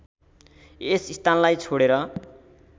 यस स्थानलाई छोडेर